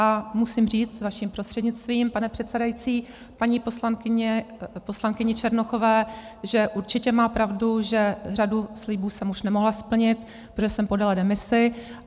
A musím říct vaším prostřednictvím, pane předsedající, paní poslankyni Černochové, že určitě má pravdu, že řadu slibů jsem už nemohla splnit, protože jsem podala demisi.